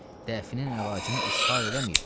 Dəfinin əlacını ishar eləməyibdir.